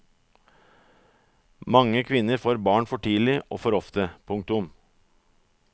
Mange kvinner får barn for tidlig og for ofte. punktum